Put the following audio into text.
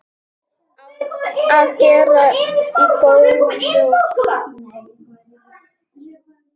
Á að bera í góulok.